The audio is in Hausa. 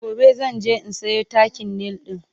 gobe zan je in Sayo takin nail ɗin